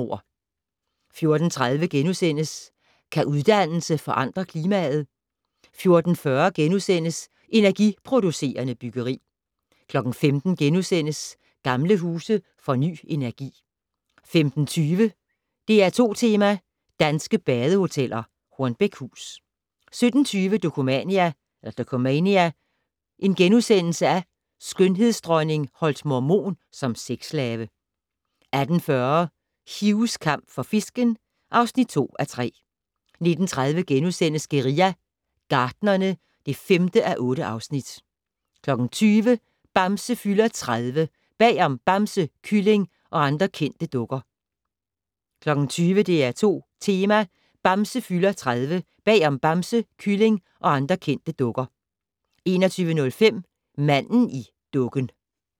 14:30: Kan uddannelse forandre klimaet? * 14:40: Energiproducerende byggeri * 15:00: Gamle huse får ny energi * 15:20: DR2 Tema: Danske badehoteller - Hornbækhus 17:20: Dokumania: Skønhedsdronning holdt mormon som sexslave * 18:40: Hughs kamp for fisken (2:3) 19:30: Guerilla Gartnerne (5:8)* 20:00: Bamse fylder 30 - Bag om Bamse, Kylling og andre kendte dukker 20:00: DR2 Tema: Bamse fylder 30 - Bag om Bamse, Kylling og andre kendte dukker 21:05: Manden i dukken